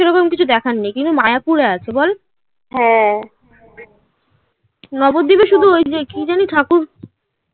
এরকম কিছু দেখার নেই. কিন্তু মায়াপুরে আছে বল. হ্যাঁ নবদ্বীপে শুধু ওই যে কি জানি ঠাকুর